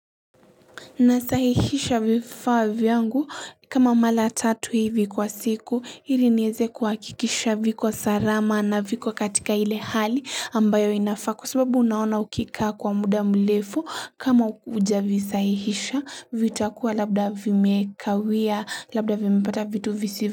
Nasahihisha vifaa vyangu kama malmra tatu hivi kwa siku hili niweze kuhakikisha viko salama na viko katika hile hali ambayo inafaa kwa sababu unaona ukika kwa muda mrefu kama ujavisahihisha vitakuwa labda vimekawia labda vimipata vitu visi.